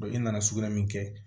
e nana sugunɛ min kɛ